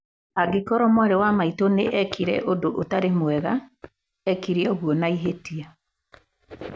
Angĩkorwo mwarĩ wa maitũ nĩ eekire ũndũ ũtarĩ mwega, eekire ũguo na ihĩtia.